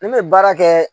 Ne bɛ baara kɛ